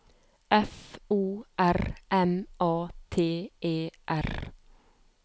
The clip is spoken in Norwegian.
F O R M A T E R